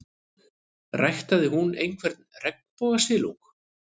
Ræktaði hún einhvern regnbogasilung?